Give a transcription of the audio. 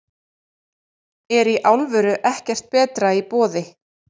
Er í alvöru ekkert betra í boði?